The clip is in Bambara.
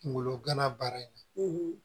Kungolo gana baara in na